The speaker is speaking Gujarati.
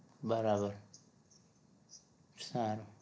બરાબર સારું